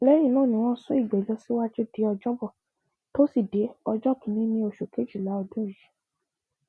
lẹ́yìn náà ni wọn sún ìgbẹjọ síwájú di ọjọbọ tó sì dé ọjọ kìnínní oṣù kejìlá ọdún yìí